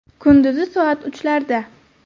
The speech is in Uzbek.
Kunduzi soat uchlarda.